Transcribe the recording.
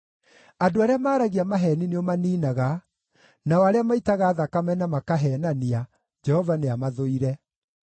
Andũ arĩa maaragia maheeni nĩũmaniinaga; nao arĩa maitaga thakame na makaheenania, Jehova nĩamathũire.